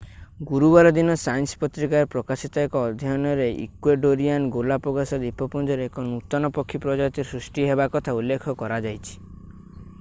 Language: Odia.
ଗୁରୁବାର ଦିନ ସାଇନ୍ସ ପତ୍ରିକାରେ ପ୍ରକାଶିତ ଏକ ଅଧ୍ୟୟନରେ ଇକ୍ୱେଡୋରିଆନ୍ ଗାଲାପାଗୋସ ଦ୍ୱୀପପୁଞ୍ଜରେ ଏକ ନୂତନ ପକ୍ଷୀ ପ୍ରଜାତି ସୃଷ୍ଟି ହେବା କଥା ଉଲ୍ଲେଖ କରାଯାଇଛି